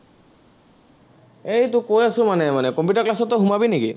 এৰ তোৰ কৈ আছো মানে মানে, কম্পিউটাৰ class ত তই সোমাবি নেকি?